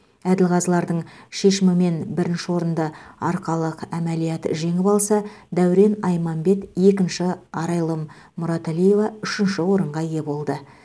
әділқазылардың шешімімен бірінші орынды арқалық әмәлият жеңіп алса дәурен айманбет екінші арайлым мұраталиева үшінші орынға ие болды